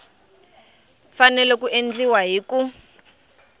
fanele ku endliwa hi ku